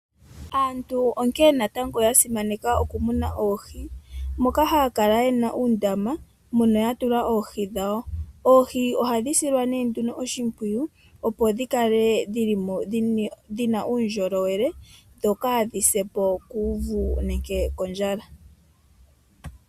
Aantu onkene na tango ya simaneka oku muna oohi, moka haya kala yena uundama mono ya tula oohi dha wo. Oohi ohadhi silwa nee nduno oshimpwiyu opo dhi kale dhi li mo dhina uundjolowele, dho kaa dhi se po kuuvu nenge kondjala.